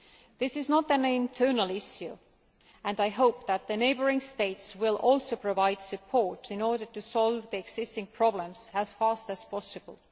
This is not an internal issue, and I hope that the neighbouring states will also provide support in order to resolve the existing problems as fast as possible.